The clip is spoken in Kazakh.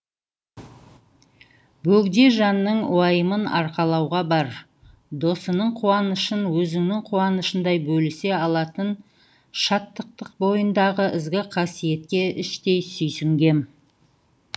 бөгде жанның уайымын арқалауға бар досының қуанышын өзінің қуанышындай бөлісе алатын шаттықтың бойындағы ізгі қасиетке іштей сүйсінгем